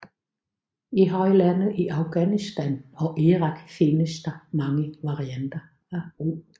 I højlandet i Afghanistan og Irak finnes der mange varianter af rug